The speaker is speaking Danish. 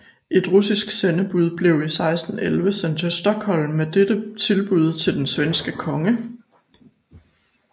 Et russisk sendebud blev i 1611 sendt til Stockholm med dette tilbud til den svenske konge